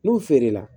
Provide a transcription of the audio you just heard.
N'u feere la